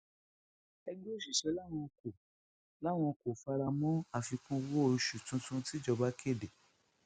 ẹgbẹ òṣìṣẹ làwọn kò làwọn kò fara mọ àfikún owó oṣù tuntun tìjọba kéde